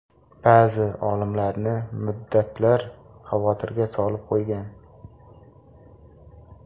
Ba’zi olimlarni muddatlar xavotirga solib qo‘ygan.